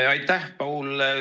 Aitäh, Paul!